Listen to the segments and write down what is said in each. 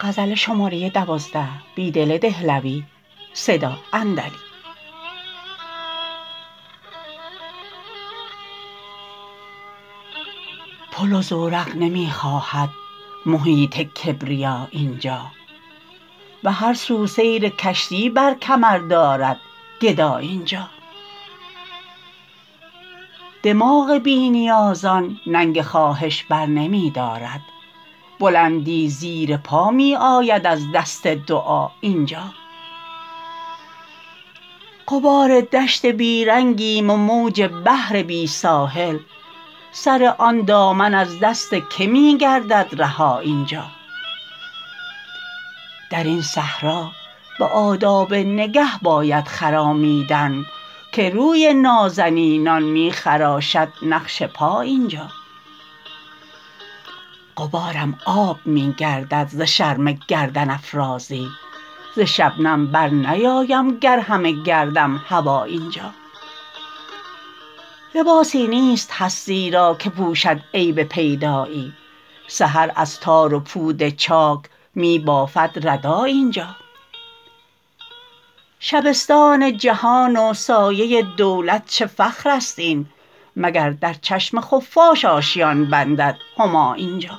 پل و زورق نمی خواهد محیط کبریا اینجا به هرسو سیرکشتی برکمر داردگدا اینجا دماغ بی نیازان ننگ خواهش برنمی دارد بلندی زیر پا می آید از دست دعا اینجا غبار دشت بیرنگیم و موج بحر بی ساحل سر آن دامن از دست که می گردد رها اینجا درین صحرا به آداب نگه باید خرامیدن که روی نازنینان می خراشد نقش پا اینجا غبارم آب می گردد ز شرم گردن افرازی ز شبنم برنیایم گر همه گردم هوا اینجا لباسی نیست هستی را که پوشد عیب پیدایی سحر از تار و پود چاک می بافد ردا اینجا شبستان جهان و سایه دولت چه فخراست این مگردرچشم خفاش آشیان بندد هما اینجا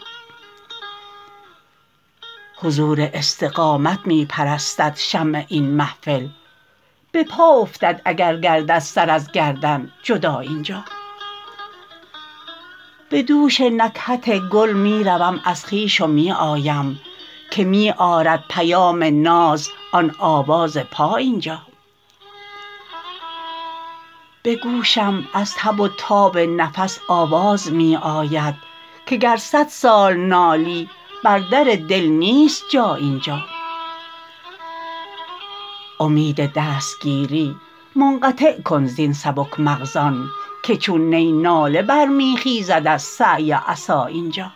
حضور استقامت می پرستد شمع این محفل به پا افتد اگرگردد سر ازگردن جدا اینجا به دوش نکهت گل می روم ازخویش و می آیم که می آرد پیام ناز آن آواز پا اینجا به گوشم از تب و تاب نفس آواز می آید که گر صدسال نالی بر در دل نیست جا اینجا امید دستگیری منقطع کن زین سبک مغزان که چون نی ناله برمی خیزد از سعی عصااینجا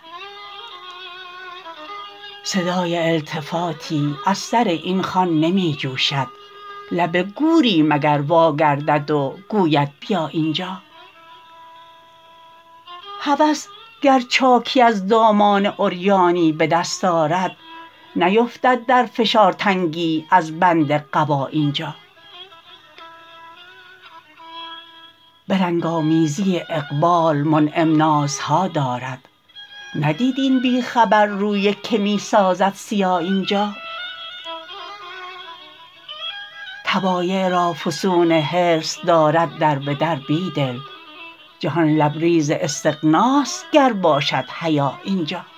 صدای التفاتی از سر این خوان نمی جوشد لب گوری مگر واگردد وگوید بیا اینجا هوس گر چاکی از دامان عریانی به دست آرد نیفتد در فشارتنگی از بند قبا اینجا به رنگ آمیزی اقبال منعم نازها دارد ندید این بیخبر روی که می سازد سیا اینجا طبایع را فسون حرص دارد در به در بیدل جهان لبریز استغناست گر باشد حیا اینجا